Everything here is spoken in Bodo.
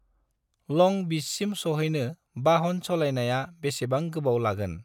लं बिचसिम सौहैनो बाहन सालायनायाव बेसेबां गोबाव लागोन?